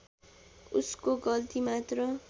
उसको गल्ती मात्र